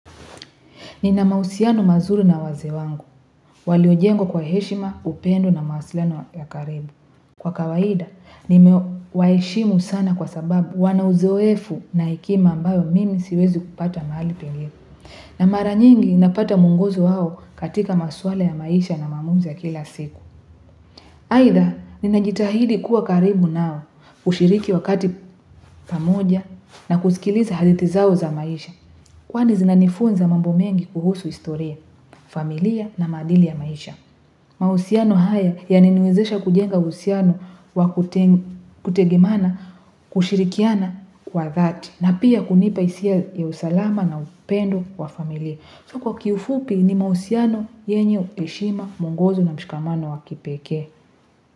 Nina mahusiano mazuri na waze wangu, waliojengwa kwa heshima, upendo na mawasiliano ya karibu. Kwa kawaida, nimewaheshimu sana kwa sababu wana uzoefu na hekima ambayo mimi siwezi kupata mahali pengine. Na maranyingi napata mwonguzo hao katika maswala ya maisha na maamuzi ya kila siku. Haidha, ninajitahidi kuwa karibu nao, kushiriki wakati pamoja na kusikiliza hadithi zao za maisha. Kwani zinanifunza mambo mengi kuhusu historia, familia na madili ya maisha. Mahusiano haya yaliniwezesha kujenga uhusiano wa kutegemana kushirikiana kwa dhati. Na pia kunipa hisia ya usalama na upendo kwa familia. So kwa kiufupi ni mahusiano yenye heshima mwongozo na mshikamano wa kipeke.